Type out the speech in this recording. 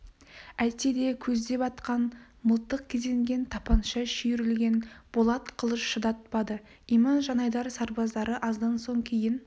әйтсе де көздеп атқан мылтық кезенген тапанша шүйірілген болат қылыш шыдатпады иман жанайдар сарбаздары аздан соң кейін